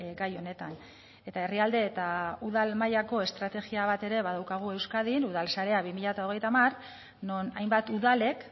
gai honetan eta herrialde eta udal mailako estrategia bat ere badaukagu euskadin udalsarea bi mila hogeita hamar non hainbat udalek